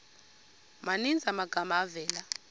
maninzi amagama avela